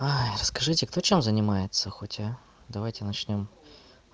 расскажите кто чем занимается хотя а давайте начнём